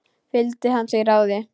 Fylgdi hann því ráði.